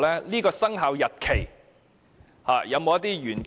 這個生效日期有否隱藏一些玄機？